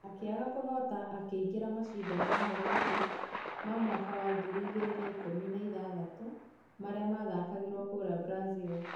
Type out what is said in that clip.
Akĩaga kũhota akĩingira mashindano ma Olympics ma mwaka wa ngiri igĩri na ikũmi na ithathatũ marĩa mathakagwo kũria brazil